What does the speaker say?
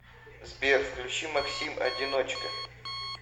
сбер включи максим одиночка